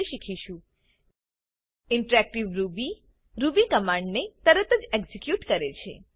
વિશે શીખીશું interactive Ruby Ruby command ને તરતજ એક્ઝીક્યુટ કરે છે